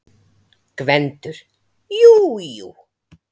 GVENDUR: Jú, jú.